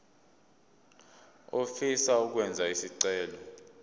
ofisa ukwenza isicelo